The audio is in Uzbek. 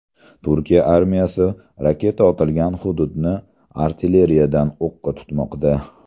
Turkiya armiyasi raketa otilgan hududni artilleriyadan o‘qqa tutmoqda.